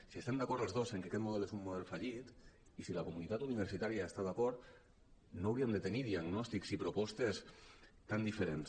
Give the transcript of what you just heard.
si estem d’acord els dos en que aquest model és un model fallit i si la comunitat universitària hi està d’acord no hauríem de tenir diagnòstics i propostes tan diferents